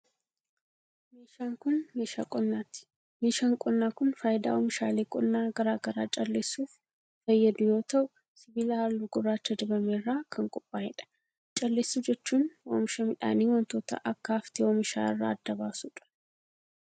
Meeshaan kun, meeshaa qonnaati. Meeshaan qonnaa kun faayidaa oomishaalee qonnaa garaa garaa calleessuuf fayyadu yoo ta'u, sibiila haalluu gurraacha dibame irraa kan qophaa'e dha. Calleessuu jechuun, oomisha midhaanii wantoota akka haftee oomishaa irraa adda baasu dha.